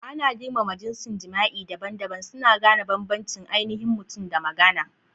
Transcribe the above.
Ana girmama jinsin jima'i daban-daban, suna gane bambancin ainihin mutum da magana.